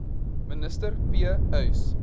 minister p uys